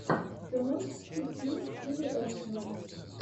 ты можешь включить фильм в стиле экшена